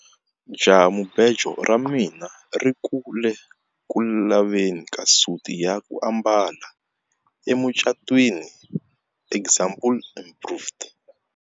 Jahamubejo ra mina ri ku le ku laveni ka suti ya ku ambala emucatwini example improved.